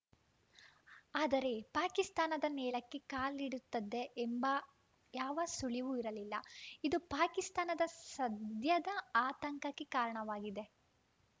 ಆದರೆ ಪಾಕಿಸ್ತಾನದ ನೆಲಕ್ಕೇ ಕಾಲಿಡುತ್ತದೆ ಎಂಬ ಯಾವ ಸುಳಿವೂ ಇರಲಿಲ್ಲ ಇದು ಪಾಕಿಸ್ತಾನದ ಸದ್ಯದ ಆತಂಕಕ್ಕೆ ಕಾರಣವಾಗಿದೆ